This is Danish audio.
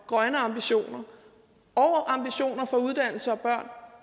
grønne ambitioner og ambitioner for uddannelse og børn